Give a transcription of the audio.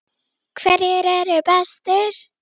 Þú gekkst í gegnum margt.